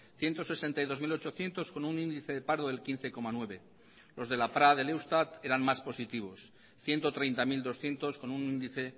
ciento sesenta y dos mil ochocientos con un índice de paro del quince coma nueve por ciento los de la pra del eustat eran más positivos ciento treinta mil doscientos con un índice